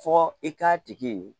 Fɔ i k'a tigi ye